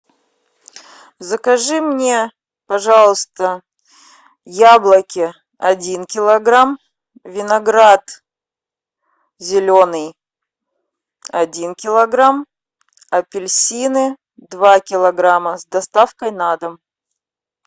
закажи мне пожалуйста яблоки один килограмм виноград зеленый один килограмм апельсины два килограмма с доставкой на дом